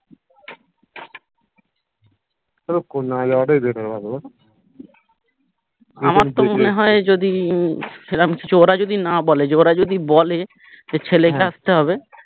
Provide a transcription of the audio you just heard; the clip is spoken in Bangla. আমার তো মনে হয় যদি সেরম কিছু ওরা যদি না বলে যে ওরা যদি বলে যে ছেলেকে আসতে হবে